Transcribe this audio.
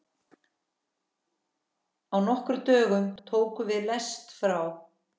Á nokkrum dögum tókum við lest frá